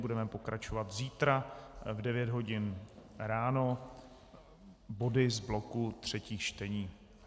Budeme pokračovat zítra v 9 hodin ráno body z bloku třetích čtení.